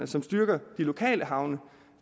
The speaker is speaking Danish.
som styrker de lokale havne